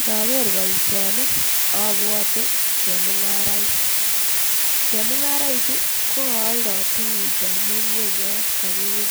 Ndaker boisioni abwate chemungaraik. Chemungaraichu kokoaldo tugucho mi ngwenyo kagiyum.